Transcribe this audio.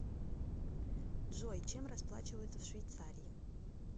джой чем расплачиваются в швейцарии